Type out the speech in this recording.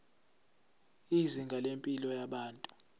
izinga lempilo yabantu